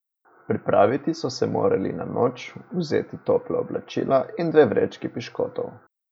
Pripraviti so se morali na noč, vzeti topla oblačila in dve vrečki piškotov.